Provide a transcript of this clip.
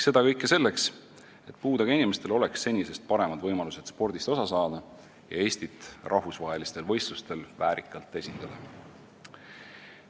Seda kõike selleks, et puudega inimestel oleks senisest paremad võimalused spordist osa saada ja Eestit rahvusvahelistel võistlustel väärikalt esindada.